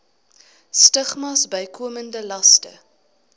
stigmas bykomende laste